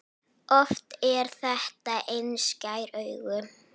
Oft er þetta einskær áhugi.